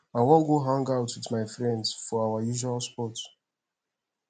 i wan go hangout with my friends for our usual spot